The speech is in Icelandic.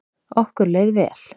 Okkur leið vel.